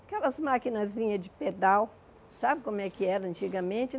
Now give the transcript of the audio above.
Aquelas maquinazinhas de pedal, sabe como é que era antigamente?